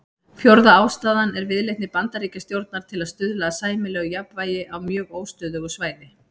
Fjórða ástæðan er viðleitni Bandaríkjastjórnar til að stuðla að sæmilegu jafnvægi á mjög óstöðugu svæði.